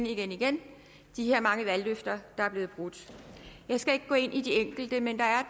igen igen de her mange valgløfter der er blevet brudt jeg skal ikke gå ind i alle de enkelte men der er